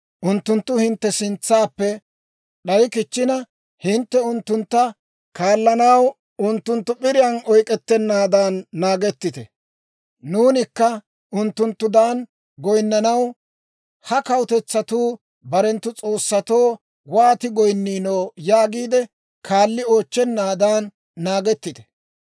unttunttu hintte sintsaappe d'aykkichchina hintte unttuntta kaallanaw, unttuntta p'iriyaan oyk'k'ettennaadan naagettite; ‹Nuunikka unttunttudan goyinnanaw, ha kawutetsatuu barenttu s'oossatoo wooti goyinniino› yaagiide, kaalli oochchennaadan naagettite.